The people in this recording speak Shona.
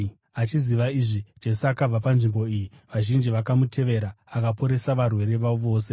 Achiziva izvi, Jesu akabva panzvimbo iyi. Vazhinji vakamutevera, akaporesa varwere vavo vose.